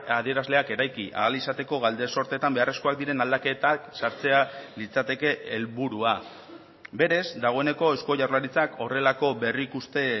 adierazleak eraiki ahal izateko galdesortetan beharrezkoak diren aldaketak sartzea litzateke helburua berez dagoeneko eusko jaurlaritzak horrelako berrikuste